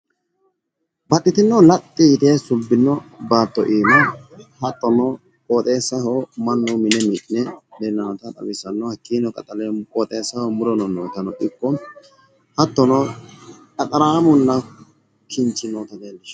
Baxxitino laxxi yite subbino baatto iima hattono qooxeessaho mannu mine mi'ne noota hattono qoxeessaho hanja muto noota leellishanno